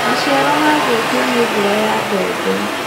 Maciaro mathũkio nĩ mbura ya mbembe.